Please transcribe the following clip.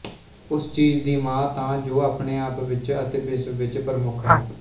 ਉਸ ਚੀਜ਼ ਦੀ ਮਾਂ ਤਾਂ ਜੋ ਆਪਣੇ ਆਪ ਵਿੱਚ ਅਤੇ ਵਿਸ਼ਵ ਵਿੱਚ ਪ੍ਰਮੁੱਖ ਹੈ